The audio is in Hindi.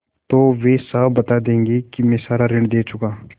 तो वे साफ बता देंगे कि मैं सारा ऋण दे चुका